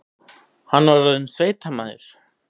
Hann var orðinn sveitamaður.